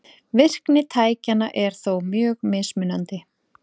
Virkni tækjanna er þó mjög mismunandi.